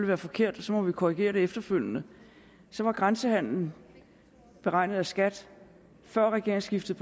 være forkert og så må vi korrigere det efterfølgende var grænsehandelen beregnet af skat før regeringsskiftet